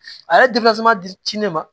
A yɛrɛ di ne ma